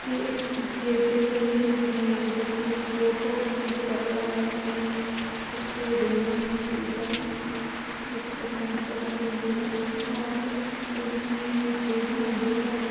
ये एक गेप दिख रही है जिसमें एक व्यक्ति फोटो शूट करवा रहा है अपनी उसके दोनों हाथ ऊपर हैं जो कि चट्टानों पर रखे हुए हैं और इस इसमें गैप में अँधेरा है।